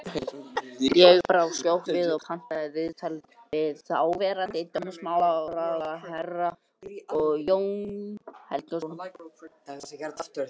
Ég brá skjótt við og pantaði viðtal við þáverandi dómsmálaráðherra, Jón Helgason.